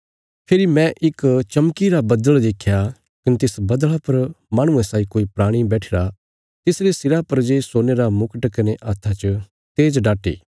फेरी मैं इक चमकीरा बद्दल़ देख्या कने तिस बद्दल़ा पर माहणुये साई कोई प्राणी बैठिरा तिसरे सिरा पर जे सोने रा मुकट कने हत्था च तेज़ डाटी